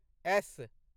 S